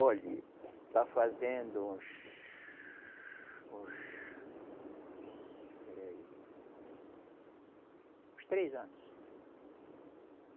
Olhe, está fazendo uns, uns espera aí. Uns três anos.